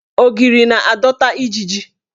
Ogiri na-adọta ijiji.